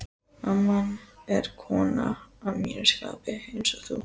amman er kona að mínu skapi, einsog þú.